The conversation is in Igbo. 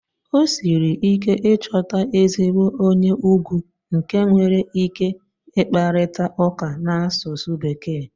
O siri ike ịchọta ezigbo onye ugwu nke nwere ike ịkparịta ụka n'asụsụ Bekee.